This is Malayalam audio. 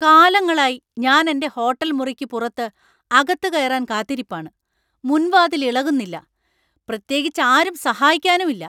കാലങ്ങളായി ഞാനെന്‍റെ ഹോട്ടൽ മുറിക്ക് പുറത്ത് അകത്ത് കയറാൻ കാത്തിരിപ്പാണ്, മുൻവാതിൽ ഇളകുന്നില്ല! പ്രത്യേകിച്ച് ആരും സഹായിക്കാനും ഇല്ലാ.